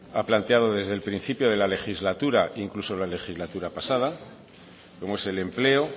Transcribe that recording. ha planteado desde el principio de la legislatura incluso la legislatura pasada como es el empleo